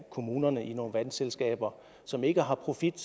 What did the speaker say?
af kommunerne i nogle vandselskaber som ikke har profit